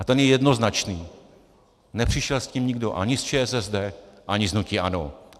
A ten je jednoznačný - nepřišel s tím nikdo ani z ČSSD, ani z hnutí ANO.